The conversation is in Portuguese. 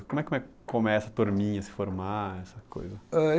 Como é como é como é essa turminha, se formar, essa coisa? É eu